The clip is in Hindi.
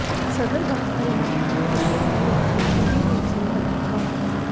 सदर बाजार इलाके में रहने वाला युवक चूड़ी बेचने गया था